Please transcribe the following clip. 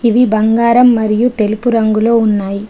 ఇవి బంగారం మరియు తెలుపు రంగులో ఉన్నాయి.